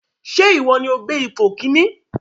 Ṣé ìwọ ní o gbé ipò kìíní?